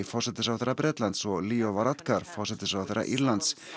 forsætisráðherra Bretlands og Leo Varadkar forsætisráðherra Írlands